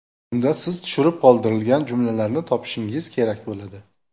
Unda siz tushirib qoldirilgan jumlalarni topishingiz kerak bo‘ladi.